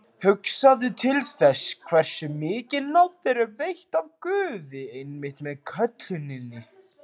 Hugsaðu til þess, hversu mikil náð þér er veitt af Guði einmitt með kölluninni.